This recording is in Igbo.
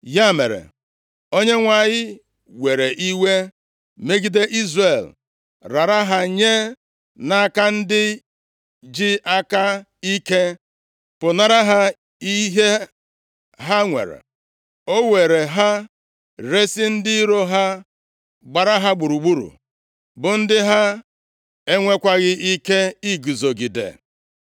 Ya mere, Onyenwe anyị + 2:14 \+xt Nkp 3:8; 2Ez 17:20\+xt* were iwe megide Izrel, rara ha nye nʼaka ndị ji aka ike pụnara ha ihe ha nwere. O weere ha resi ndị iro ha gbara ha gburugburu, bụ ndị ha enwekwaghị ike iguzogide.